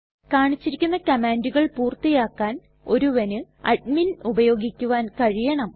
കാണിച്ചിരിക്കുന്ന കമ്മാണ്ടുകൾ പൂർത്തിയാക്കാൻ ഒരുവന് അഡ്മിൻ ഉപയോഗിക്കുവാൻ കഴിയണം